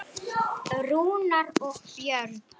Þessi tenging er mjög sterk.